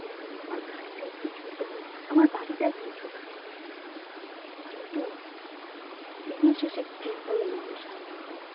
আমার গাড়ি টা একটু ছোট হোক আমার বাড়িটা একটু ছোট হোক কিন্তু দিনের শেষে ঘুমটাই যেন আমার শান্তি হয়